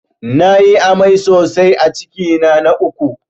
Na yi amai sosai a cikina na uku